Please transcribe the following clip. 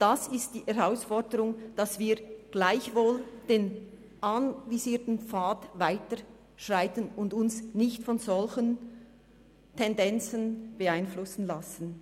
Das ist die Herausforderung, dass wir gleichwohl den anvisierten Pfad weiterschreiten und uns nicht von solchen Tendenzen beeinflussen lassen.